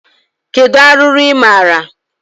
Kedu arụrụ ị maara?